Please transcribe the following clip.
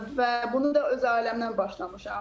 Və bunu da öz ailəmdən başlamışam.